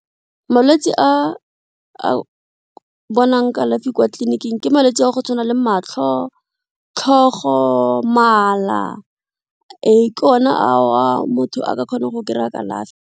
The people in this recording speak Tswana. Malwetse a a bonang kalafi kwa tleliniking ke malwetsi a go tshwana le matlho, tlhogo, mala, ee ke one a motho a kgone go kry-a kalafi.